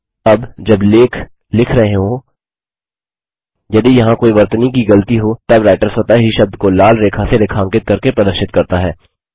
अब जब लेख लिख रहे हों यदि यहाँ कोई वर्तनी की गलती हो तब राइटर स्वतः ही शब्द को लाल रेखा से रेखांकित करके प्रदर्शित करता है